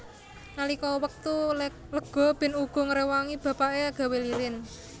Nalika wektu lega Ben uga ngrewangi bapake gawé lilin